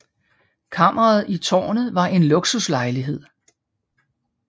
Kammeret i tårnet var en luksuslejlighed